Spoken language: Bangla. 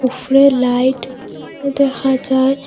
উফরে লাইট এ দেখা যার ।